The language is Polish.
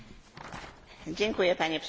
Dziękuję Panie Przewodniczący!